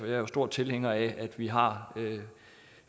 er jo stor tilhænger af at vi har